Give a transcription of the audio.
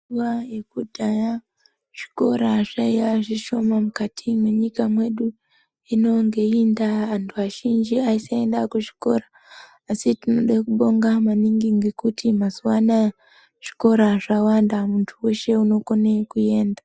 Nguva yekudhaya zvikora zvaiya zvishoma mukati mwenyika mwedu. Hino ngeiyi ndaa vantu azhinji anoenda kuzvikora asi tinoda kubonga maningi ngekuti mazuva anaya zvikora zvawanda muntu weshe inokone kuenda.